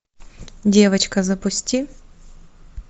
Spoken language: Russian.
девочка запусти